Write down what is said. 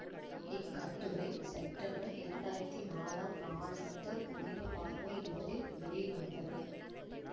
இக்கட்டுரை September இரண்டாயிரத்தி நாலாம் நாளிட்ட புதிய பார்வை இதழில் வெளிவந்தது